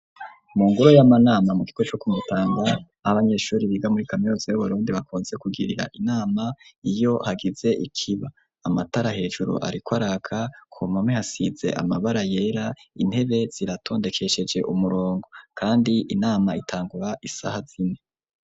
Mu ngoro y'amanama, mu kigo co ku Mutanga, aho abanyeshuri, biga muri kaminuza y'Uburundi, bakunze kugirira inama, iyo hagize ikiba; amatara hejuru, ariko araka, ku mpome, hasize amabara yera, intebe ziratondekesheje umurongo, kandi inama, itangura isaha zine.